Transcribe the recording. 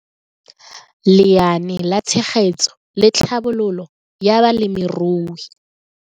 Lenaane la Tshegetso le Tlhabololo ya Balemirui